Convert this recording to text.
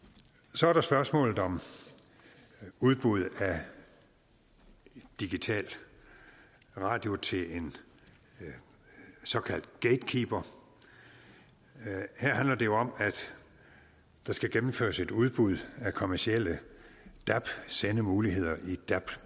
så er der spørgsmålet om udbud af en digital radio til en såkaldt gatekeeper her handler det jo om at der skal gennemføres et udbud af kommercielle dab sendemuligheder i dab